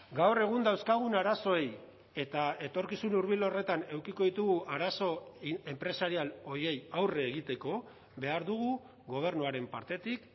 gaur egun dauzkagun arazoei eta etorkizun hurbil horretan edukiko ditugu arazo enpresarial horiei aurre egiteko behar dugu gobernuaren partetik